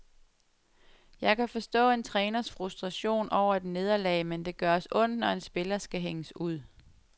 Jeg kan forstå en træners frustration over et nederlag, men det gør os ondt, når en spiller skal hænges ud.